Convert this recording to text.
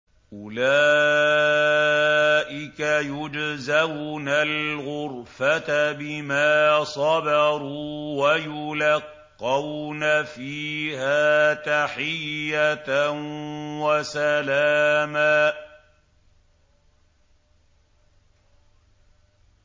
أُولَٰئِكَ يُجْزَوْنَ الْغُرْفَةَ بِمَا صَبَرُوا وَيُلَقَّوْنَ فِيهَا تَحِيَّةً وَسَلَامًا